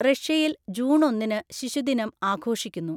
റഷ്യയിൽ, ജൂൺ ഒന്നിന് ശിശുദിനം ആഘോഷിക്കുന്നു.